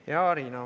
Hea Riina!